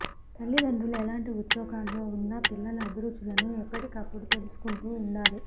తల్లిదండ్రులు ఎలాంటి ఉద్యోగాల్లో ఉన్నా పిల్లల అభిరుచులను ఎప్పటికప్పుడు తెలుసుకుం టూ ఉండాలి